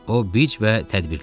O bic və tədbirli idi.